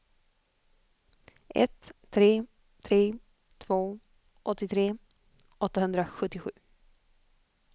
ett tre tre två åttiotre åttahundrasjuttiosju